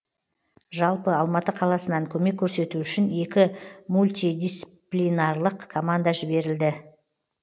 жалпы алматы қаласынан көмек көрсету үшін екі мультидисциплинарлық команда жіберілді